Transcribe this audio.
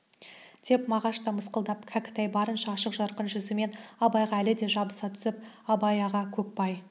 деп мағаш та мысқылдады кәкітай барынша ашық-жарқын жүзімен абайға әлі де жабыса түсіп абай аға көкбай